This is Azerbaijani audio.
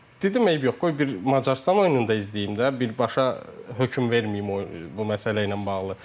dedim eybi yox, qoy bir Macarıstan oyununda da izləyim də, birbaşa hökm verməyim bu məsələ ilə bağlı.